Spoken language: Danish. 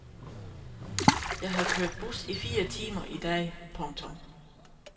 Jeg har kørt bus i fire timer i dag. punktum